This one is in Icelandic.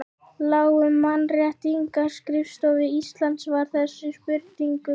Látum Mannréttindaskrifstofu Íslands svara þessum spurningum